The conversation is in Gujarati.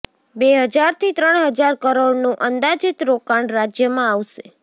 બે હજાર થી ત્રણ હજાર કરોડનું અંદાજિત રોકાણ રાજ્યમાં આવશે